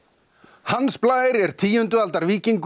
hans Blær er tíundu aldar víkingur